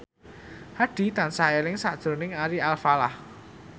Hadi tansah eling sakjroning Ari Alfalah